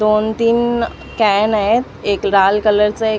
दोन तीन कॅन आहेत एक लाल कलर च एक --